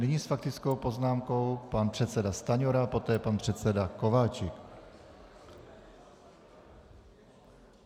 Nyní s faktickou poznámkou pan předseda Stanjura, poté pan předseda Kováčik.